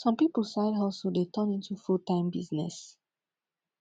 some pipu side hustle dey turn into full time business